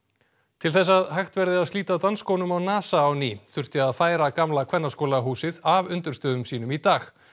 til þess að hægt verði að slíta dansskónum á NASA á ný þurfti að færa gamla Kvennaskólahúsið af undirstöðum sínum í dag